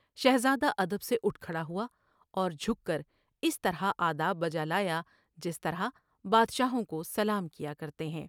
شہزادہ ادب سے اٹھ کھڑا ہوا اور جھک کر اس طرح آداب بجالا یا جس طرح بادشاہوں کو سلام کیا کرتے ہیں ۔